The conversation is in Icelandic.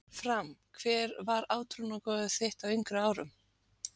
Fram Hver var átrúnaðargoð þitt á yngri árum?